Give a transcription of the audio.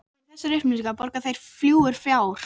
KRISTJÁN: Já, en. fyrr má nú vera.